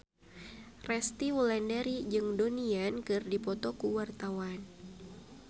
Resty Wulandari jeung Donnie Yan keur dipoto ku wartawan